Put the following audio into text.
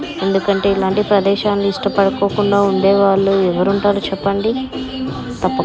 ఎందుకంటే ఇలాంటి ప్రదేశాలు ఇష్టపడకుండా ఉండేవాళ్ళు ఎవరుంటారు చెప్పండి.